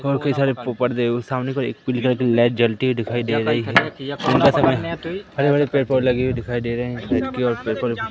और कई सारे पर्दे और सामने कोई पीले कलर की लाइट जलती हुई दिखाई दे रही है दिन का समय है बड़े बड़े पेड़ पौधे लगे हुए दिखाई दे रहे हैं के और पेपर भी।